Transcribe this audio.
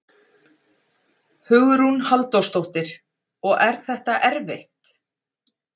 Hugrún Halldórsdóttir: Og er þetta erfitt?